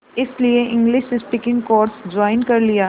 इसलिए English speaking course join कर लिया